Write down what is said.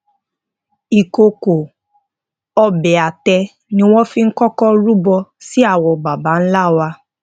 ìkòkò obẹ àtẹ ni wọn fi kọkọ rúbọ sí àwọn baba nla wa